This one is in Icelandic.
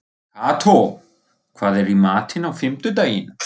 Kató, hvað er í matinn á fimmtudaginn?